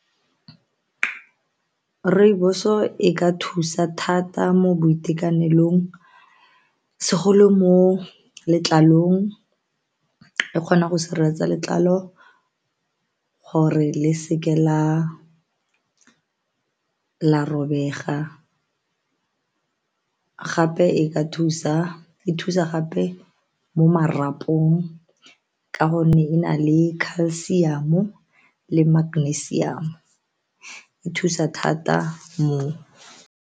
Rooibos-o e ka thusa thata mo boitekanelong segolo mo letlalong e kgona go sireletsa letlalo gore le seke la la robega gape e thusa gape mo marapong ka gonne e na le calcium-o le magnesium e thusa thata moo.